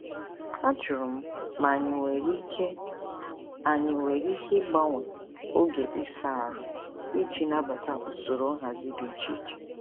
Ajụrụ m ma anyị nwere ike anyị nwere ike ịgbanwe oge ịsa ahụ iji nabata usoro nhazi dị iche iche.